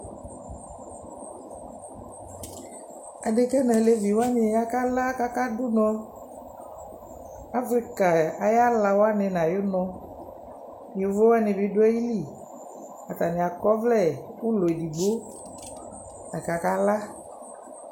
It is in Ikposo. Adekǝ nʋ alevi wanɩ akala kʋ akadʋ ʋnɔ Afrika ayʋ ala wanɩ nʋ ayʋ ʋnɔ Yovo wanɩ bɩ ayili Atanɩ akɔ ɔvlɛ ʋlɔ edigbo la kʋ akala